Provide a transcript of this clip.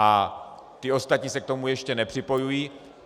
A ty ostatní se k tomu ještě nepřipojují.